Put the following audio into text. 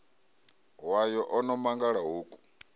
wayo o no mangala hoku